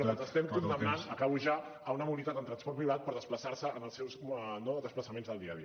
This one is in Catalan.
i els estem condemnant acabo ja a una mobilitat en transport privat per desplaçar se en els seus desplaçaments del dia a dia